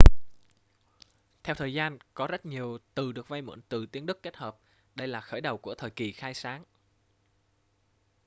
theo thời gian có rất nhiều từ được vay mượn từ tiếng đức kết hợp đây là khởi đầu của thời kỳ khai sáng